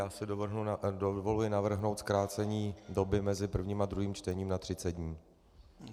Já si dovoluji navrhnout zkrácení doby mezi prvním a druhým čtením na 30 dní.